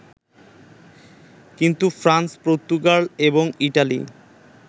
কিন্তু France, Portugal এবং Italy